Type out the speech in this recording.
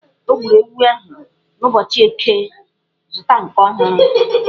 O gburu ewu ahụ n'ụbọchị Eke, zụta nke ọhụrụ!